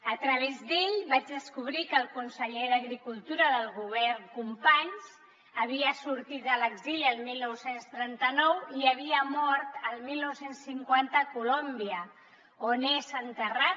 a través d’ell vaig descobrir que el conseller d’agricultura del govern companys havia sortit a l’exili el dinou trenta nou i havia mort el dinou cinquanta a colòmbia on és enterrat